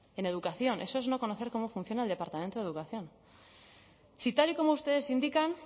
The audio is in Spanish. en educación eso es no conocer cómo funciona el departamento de educación si tal y como ustedes indican